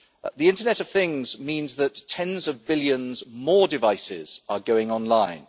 The internet of things means that tens of billions more devices are going online.